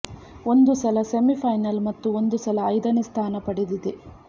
ಒಂದು ಸಲ ಸೆಮಿಫೈನಲ್ ಮತ್ತು ಒಂದು ಸಲ ಐದನೇ ಸ್ಥಾನ ಪಡೆದಿದೆ